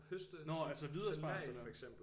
Nå altså hvide asparges eller hvad